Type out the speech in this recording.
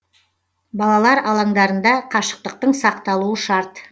балалар алаңдарында қашықтықтың сақталуы шарт